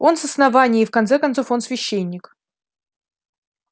он с основания и в конце концов он священник